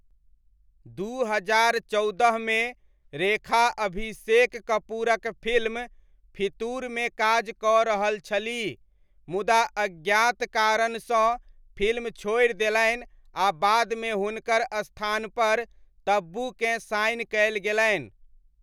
दू हजार चौदहमे रेखा अभिषेक कपूरक फिल्म फितूरमे काज कऽ रहल छलीह, मुदा अज्ञात कारणसँ फिल्म छोड़ि देलनि आ बादमे हुनकर स्थानपर तब्बूकेँ साइन कयल गेलनि।